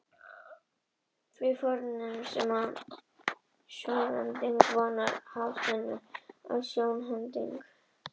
Því að vorir vitsmunir er sjónhending, og vorar spásagnir er sjónhending.